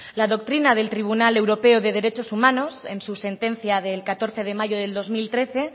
la doctrina del tribunal europeo de derechos humanos en su sentencia del catorce de mayo del dos mil trece